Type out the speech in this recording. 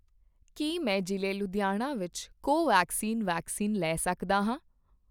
ਕੀ ਮੈਂ ਜ਼ਿਲ੍ਹੇ ਲੁਧਿਆਣਾ ਵਿੱਚ ਕੋਵੈਕਸਿਨ ਵੈਕਸੀਨ ਲੈ ਸਕਦਾ ਹਾਂ??